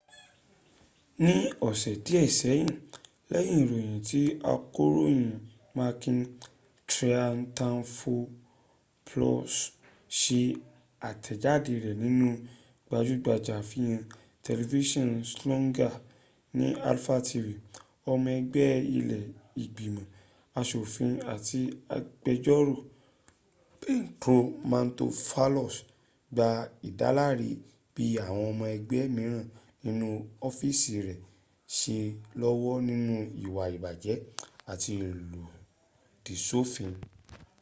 ní ọ̀sẹ̀ díè sẹ́yìn lẹyìn ìròyìn tí akọròyìn makis triantafylopoulos sẹ àtèjádẹ rẹ nínú gbajúgbajà àfihàn tẹlifísàn zoungla ní alpha tv ọmọ ẹgbé ilẹ́ ìgbimọ̀ asòfin àti agbẹjórò petros mantouvalos gba ìdáláre bi àwọn ọmọ ẹgbẹ́ míràn nínú ofiisi rẹ se lọ́wọ́ nínú ìwà ìbàjẹ́ àti ìlòdì sófin